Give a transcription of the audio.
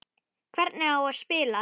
Hvernig á spila?